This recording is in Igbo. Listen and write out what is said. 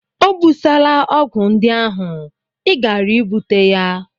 O busala ọgwụ ndị ahụ, ị gaara e bute ya!